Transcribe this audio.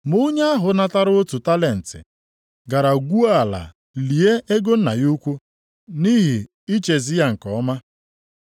Ma onye ahụ natara otu talenti gara gwuo ala lie ego nna ya ukwu, nʼihi ichezi ya nke ọma.